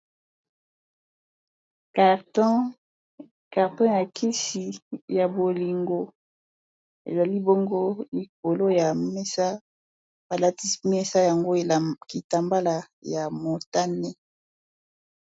Carton carton ya kisi ya bolingo ezali bongo likolo ya mesa balatisi mesa yango kitambala ya motane